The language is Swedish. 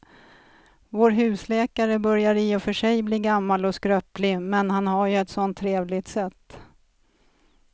Vår husläkare börjar i och för sig bli gammal och skröplig, men han har ju ett sådant trevligt sätt!